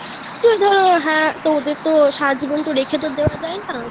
ওই ধরো হ্যাঁ তো ওদের তো সারা জীবন তো রেখে তো দেওয়া যায় না